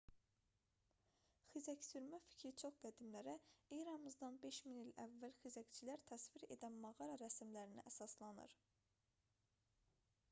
xizəksürmə fikri çox qədimlərə eramızdan 5000 il əvvəl xizəkçiləri təsvir edən mağara rəsmlərinə əsaslanır